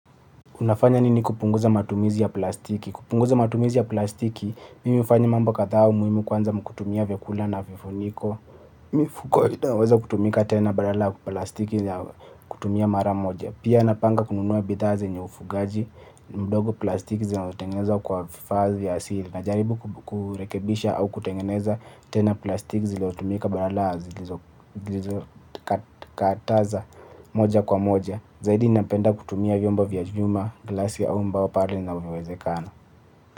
Unafanya nini kupunguza matumizi ya plastiki? Kupunguza matumizi ya plastiki, mimi hufanya mambo kadha muhimu kwanza ni kutumia vyakula na vifuniko. Mifuko, inaweza kutumika tena badala ya plastiki ya kutumia mara moja. Pia napanga kununua bidhaa zenye ufugaji, mdogo plastiki zinatengenezwa kwa vifaa ya asili. Najaribu kurekebisha au kutengeneza tena plastiki zilizotumika badala ya zilizo kataza moja kwa moja. Zaidi napenda kutumia vyombo vya chuma, glasi au mbao pale inavyowezekana.